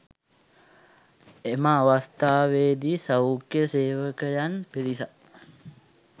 එම අවස්ථාවේදී සෞඛ්‍ය සේවකයන් පිරිසක්